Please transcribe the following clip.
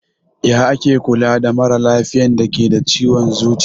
Ya ake Kula da maralafiyan dake da ciwon zuciya?